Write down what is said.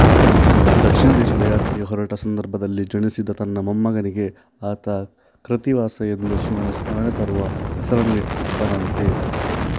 ದಕ್ಷಿಣ ದೇಶದ ಯಾತ್ರೆಗೆ ಹೊರಟ ಸಂದರ್ಭದಲ್ಲಿ ಜನಿಸಿದ ತನ್ನ ಮೊಮ್ಮಗನಿಗೆ ಆತ ಕೃತ್ತಿವಾಸ ಎಂದು ಶಿವನ ಸ್ಮರಣೆ ತರುವ ಹೆಸರನ್ನಿಟ್ಟನಂತೆ